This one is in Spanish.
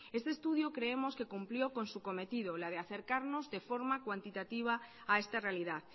este estudio creemos que cumplió con su cometido el de acercarnos de forma cuantitativa a esta realidad